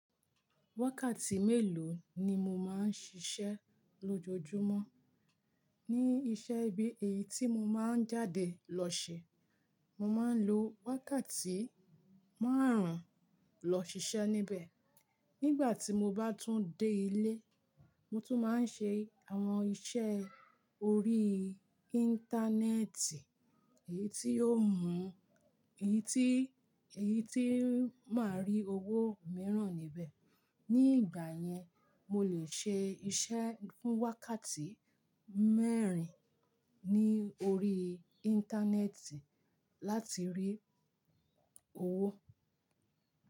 Wákàtí mélòó ni mo máa ń ṣiṣẹ́ lójoojúmọ́? Ní iṣẹ́ ibi èyí tí mo máa ń jáde lọ ṣe, mo máa ń lo wákàtí márùn-ún lọ ṣiṣẹ́ níbẹ̀. Nígbà tí mo bá tún dé ilé, mo tún máa ń ṣe àwọn iṣẹ́ orí íńtánẹ́ẹ̀tì èyí tí ó mú, èyí tí, èyí tí ń máa rí owó mìíràn níbẹ̀. Ní ìgbà yẹn, mo lè ṣe iṣẹ́ fún wákàtí mẹ́rin ní orí íńtánẹ́ẹ̀tì láti rí owó.